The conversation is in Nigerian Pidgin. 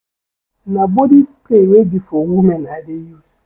Na body spray wey be for women I dey use.